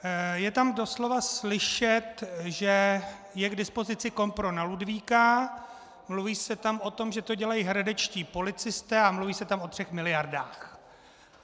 Je tam doslova slyšet, že je k dispozici kompro na Ludvíka, mluví se tam o tom, že to dělají hradečtí policisté, a mluví se tam o třech miliardách.